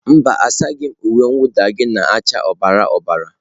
Mba, asaghị m uwe mwụda gị nke na acha ọbara ọbara